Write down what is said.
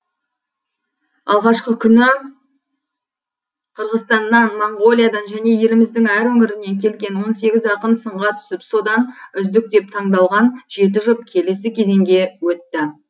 алғашқы күні қырғызстаннан моңғолиядан және еліміздің әр өңірінен келген он сегіз ақын сынға түсіп содан үздік деп таңдалған жеті жұп келесі кезеңге өтті